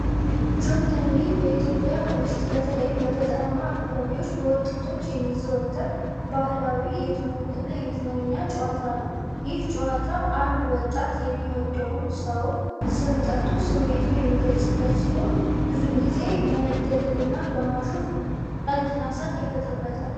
ጆተኒ በኢትዮጵያ ውስጥ በተለይም በገጠራማ አካባቢዎች በወጣቶች የሚዘወተር ባህላዊ የትውውቅና የመዝናኛ ጨዋታ ነው። ይህ ጨዋታ አንድ ወጣት የሚወደውን ሰው ስም ጠርቶ ስሜቱን የሚገልጽበት ሲሆን፣ ብዙውን ጊዜ በመደለልና በማሾፍ ቀልድና ሳቅ ይፈጠርበታል።